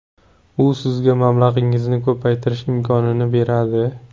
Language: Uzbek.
U sizga mablag‘ingizni ko‘paytirish imkonini beradi.